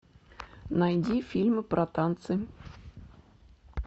найди фильмы про танцы